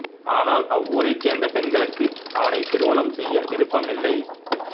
ஆனால் அவ்வூரைச் சேர்ந்த பெண்களுக்கு அவனைத் திருமணம் செய்ய விருப்பமில்லை